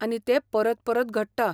आनी तें परत परत घडटा.